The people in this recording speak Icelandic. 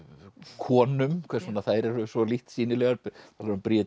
konum hvers vegna þær eru svo lítt sýnilegar